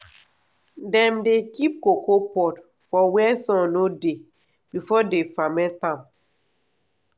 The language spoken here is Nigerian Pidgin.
dem dey keep cocoa pod for where sun no dey before dem ferment am.